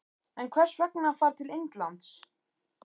En hvers vegna að fara til Indlands?